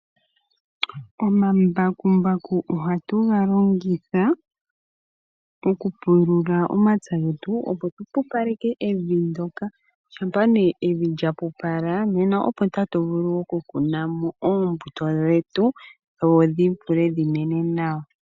Omambakumbaku ohatu ga longitha okupulula omapya getu, opo tu pupaleke evi ndyoka . Shampa ne evi lya pupala, nena opo tatu vulu okukunamo oombuto dhetu dho dhi vule dhi mene nawa.